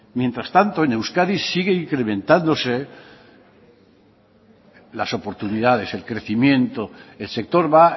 mientras tanto en euskadi sigue incrementándose las oportunidades el crecimiento el sector va